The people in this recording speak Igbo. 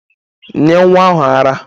Nye nwa ahu ara!